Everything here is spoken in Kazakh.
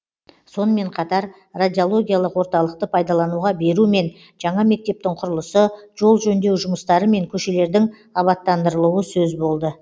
сонымен қатар радиологиялық орталықты пайдалануға беру мен жаңа мектептің құрылысы жол жөндеу жұмыстары мен көшелердің абаттандырылуы сөз болды